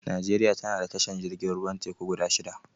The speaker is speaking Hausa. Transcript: Nijeriya tana da tashar jirgin ruwan teku guda shida